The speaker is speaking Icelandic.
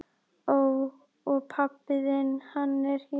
Ó. Og pabbi þinn, hann er hér?